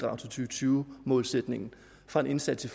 og tyve målsætningen fra en indsats i